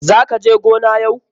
Za ka je gona yau?